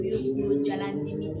U ye kungolo jalan dimi